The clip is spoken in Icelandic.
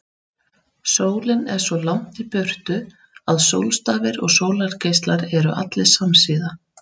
Sólin er svo langt í burtu að sólstafir og sólargeislar eru allir samsíða.